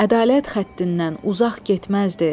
Ədalət xəttindən uzaq getməzdi.